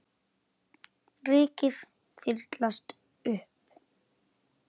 Rykið þyrlast upp.